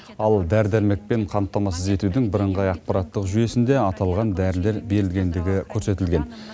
ал дәрі дәрмекпен қамтамасыз етудің бірыңғай ақпараттық жүйесінде аталған дәрілер берілгендігі көрсетілген